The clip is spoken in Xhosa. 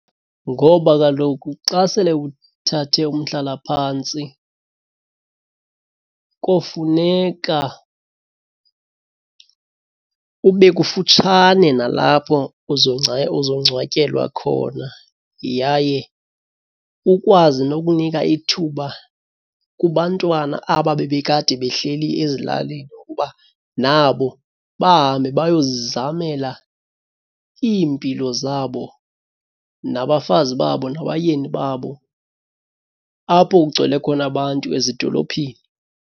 Ngoba kaloku xa sele uthathe umhlalaphantsi kofuneka ube kufutshane nalapho uzongcwatyelwa khona. Yaye ukwazi nokunika ithuba kubantwana aba bebekade behleli ezilalini ukuba nabo bahambe bayozizamela iimpilo zabo nabafazi babo nabayeni babo, apho kugcwele khona abantu ezidolophini.